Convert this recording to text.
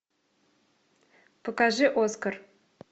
покажи оскар